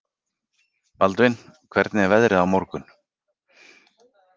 Baldvin, hvernig er veðrið á morgun?